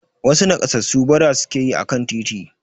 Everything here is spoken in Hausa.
Wasu nakassasu bara suke yi akan titi.